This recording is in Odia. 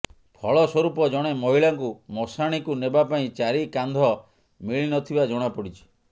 ଫଳସ୍ବରୂପ ଜଣେ ମହିଳାଙ୍କୁ ମଶାଣିକୁ ନେବା ପାଇଁ ଚାରି କାନ୍ଧ ମିଳି ନଥିବା ଜଣାପଡ଼ିଛି